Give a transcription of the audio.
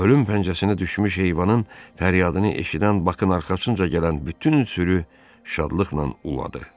Ölüm pəncəsinə düşmüş heyvanın fəryadını eşidən Bakın arxasınca gələn bütün sürü şadlıqla uladı.